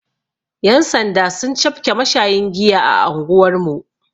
Yan' sanda sun cafke mashayin giya a anguwar mu.